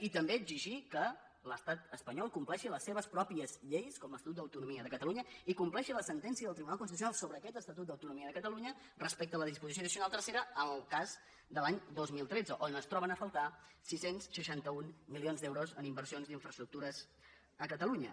i també exigir que l’estat espanyol compleixi les seves pròpies lleis com l’es tatut d’autonomia de catalunya i compleixi la sentència del tribunal constitucional sobre aquest estatut d’autonomia de catalunya respecte a la disposició addicional tercera en el cas de l’any dos mil tretze on es troben a faltar sis cents i seixanta un milions d’euros en inversions d’infraestructures a catalunya